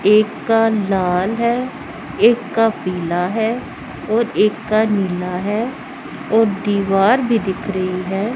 एक का लाल है एक का पीला है और एक का नीला है और दीवार भी दिख रही है।